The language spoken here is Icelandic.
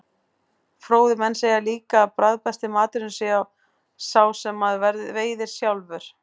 Fróðir menn segja líka að bragðbesti maturinn sé sá sem maður veiðir sjálfur.